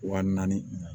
Wa naani